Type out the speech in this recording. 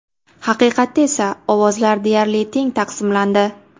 Haqiqatda esa ovozlar deyarli teng taqsimlandi.